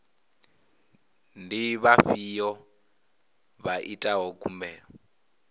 ndi vhafhiyo vha itaho khumbelo